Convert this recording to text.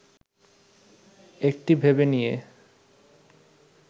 একটি ভেবে নিয়ে